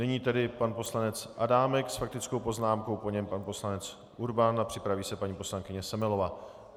Nyní tedy pan poslanec Adámek s faktickou poznámkou, po něm pan poslanec Urban a připraví se paní poslankyně Semelová.